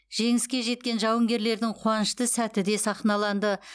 жеңіске жеткен жауынгерлердің қуанышты сәті де сахналанды